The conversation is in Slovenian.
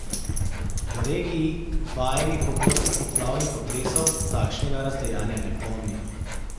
V regiji, vajeni pogostih poplav in potresov, takšnega razdejanja ne pomnijo.